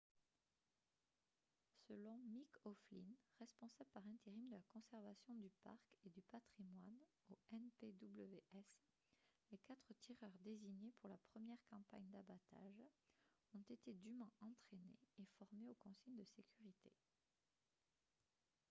selon mick o'flynn responsable par intérim de la conservation du parc et du patrimoine au npws les quatre tireurs désignés pour la première campagne d'abattage ont été dûment entraînés et formés aux consignes de sécurité